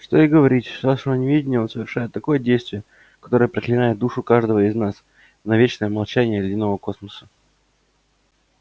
что и говорить с вашего неведения он совершает такое действие которое проклинает душу каждого из нас на вечное молчание ледяного космоса